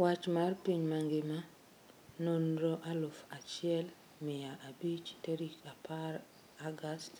Wach mar piny mangima Nonro aluf achiel mia abich tarik apar agust